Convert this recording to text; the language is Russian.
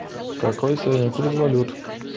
какой сегодня курс валют